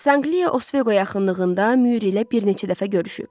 Sanqliya Osveqo yaxınlığında Müür ilə bir neçə dəfə görüşüb.